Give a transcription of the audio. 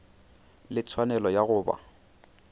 le tshwanelo ya go ba